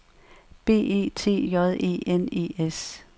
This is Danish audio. B E T J E N E S